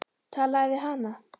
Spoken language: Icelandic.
Talaðu við hana.